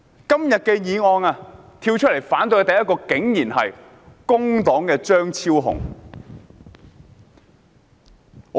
今天提出這項議案的人竟然是工黨張超雄議員。